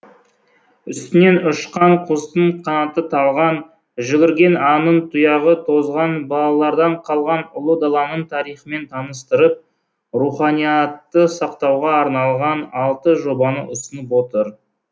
үстінен ұшқан құстың қанаты талған жүгірген аңның тұяғы тозған бабалардан қалған ұлы даланың тарихымен таныстырып руханиятты сақтауға арналған алты жобаны ұсынып отыр